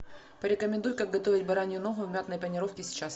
порекомендуй как готовить баранью ногу в мятной панировке сейчас